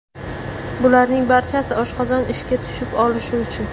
Bularning barchasi oshqozon ishga tushib olishi uchun!